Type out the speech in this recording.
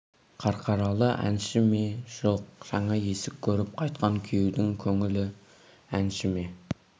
қарқаралы әнші ме жоқ жаңа есік көріп қайтқан күйеудің көңілі әнші ме